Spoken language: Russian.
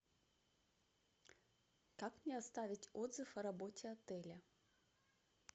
как мне оставить отзыв о работе отеля